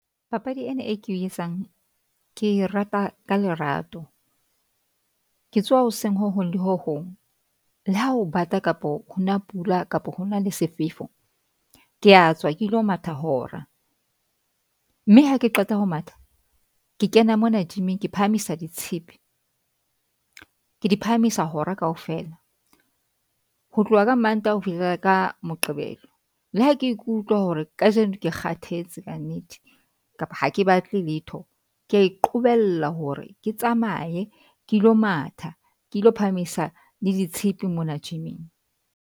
Papadi ena e ke etsang. Ke e rata ka lerato, ke tsoha hoseng ho hong le ho hong le ha ho bata kapo ho na pula kapo hona le sefefo. Ke a tswa, ke lo matha hora. Mme ha ke qeta ho matha. Ke kena mona gym-ing. Ke phahamisa ditshepe. Ke di phahamisa hora kaofela ho tloha ka Mantaha ho fihlela ka Moqebelo. Le ha ke ke ikutlwa hore kajeno ke kgathetse ka nnete kapa ha ke batle letho. Ke a iqobella hore ke tsamaye ke lo matha. Ke ilo phahamisa le ditshepe mona gym-ing.